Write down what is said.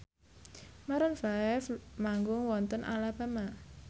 Maroon 5 manggung wonten Alabama